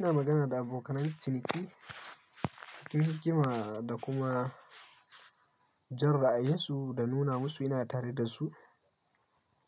Ina magana da abokanan ciniki cikin hikima da kuma jan ra'ayinsu da nuna musu ina tare da su